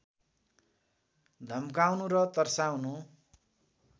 धम्काउनु र तर्साउनु